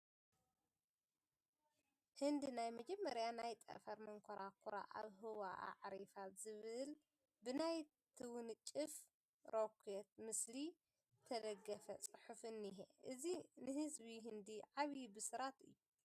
ህንዲ ናይ መመጀመርያ ናይ ጠፈር መንኮራኹራ ኣብ ህዋ ኣዕሪፋ ዝብል ብናይ ትውንጨፍ ሮኬት ምስሊ ዝተደገፈ ፅሒፍ እኒሀ፡፡ እዚ ንህዝቢ ህንዲ ዓብዪ ብስራት እዩ፡፡